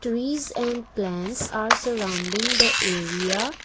trees and plans are surrounding the area.